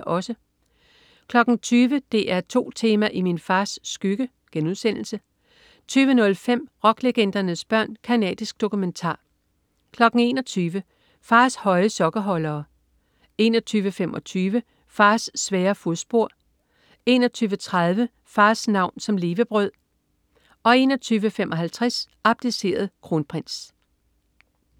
20.00 DR2 Tema: I min fars skygge* 20.05 Rocklegendernes børn. Canadisk dokumentar* 21.00 Fars høje sokkeholdere* 21.25 Fars svære fodspor* 21.30 Fars navn som levebrød* 21.55 Abdiceret kronprins*